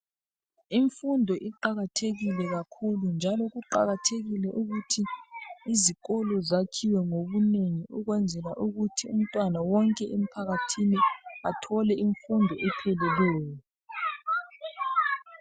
Imfundo iqakathekile kakhulu njalo kuqakathekile ukuthi izikolo zakhiwe ngobunengi ukwenzela ukuthi umntwana wonke emphakathini athole imfundo epheleleyo.